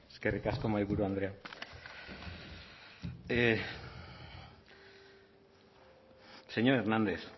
eskerrik asko mahaiburu andrea señor hernández